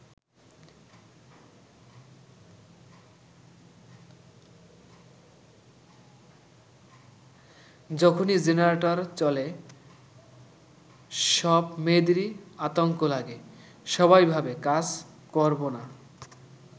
যখনই জেনারেটর চলে সব মেয়েদেরই আতঙ্ক লাগে, সবাই ভাবে কাজ করবোনা।